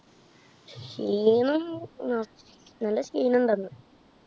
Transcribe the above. ക്ഷീണം അഹ് നല്ല ക്ഷീണം ണ്ടാര്‍ന്നു.